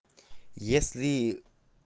если